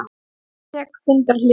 Ég tek fundarhlé.